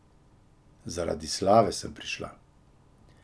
Zaradi slave sem prišla.